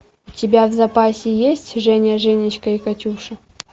у тебя в запасе есть женя женечка и катюша